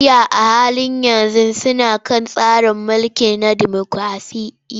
Najeriya a halin yanzu suna kan tsari mulki na demokraɗiyya.